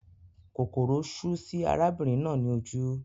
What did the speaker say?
Kòkòrò sú sí arábìnrin náà ní ojú